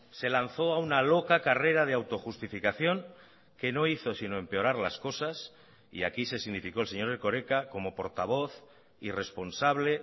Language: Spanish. se lanzó a una loca carrera de auto justificación que no hizo sino empeorar las cosas y aquí se significó el señor erkoreka como portavoz y responsable